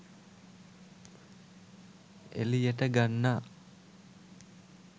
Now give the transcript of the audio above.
එළියට ගන්නා